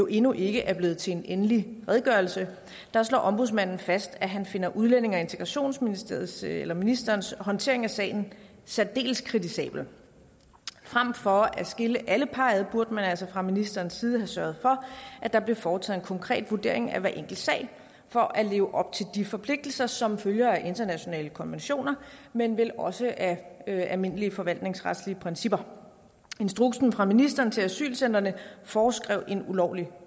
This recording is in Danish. endnu ikke er blevet til en egentlig redegørelse slår ombudsmanden fast at han finder udlændinge og integrationsministeriets eller ministerens håndtering af sagen særdeles kritisabel frem for at skille alle par ad burde man altså fra ministerens side have sørget for at der blev foretaget en konkret vurdering af hver enkelt sag for at leve op til de forpligtelser som følger af internationale konventioner men vel også af almindelige forvaltningsretlige principper instruksen fra ministeren til asylcentrene foreskrev en ulovlig